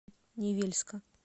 невельска